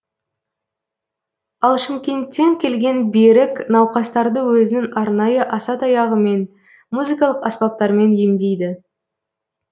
ал шымкенттен келген берік науқастарды өзінің арнайы асатаяғымен музыкалық аспаптармен емдейді